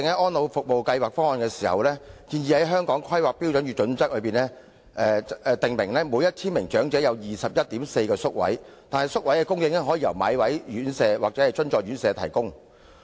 《安老方案》建議在《規劃標準》訂明每1000名長者有 21.4 個宿位的規劃比率，但宿位可以由買位院舍或資助院舍提供。